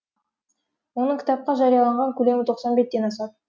оның кітапқа жарияланған көлемі тоқсан беттен асады